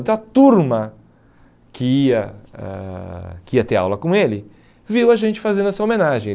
Então a turma que ia ãh que ia ter aula com ele, viu a gente fazendo essa homenagem.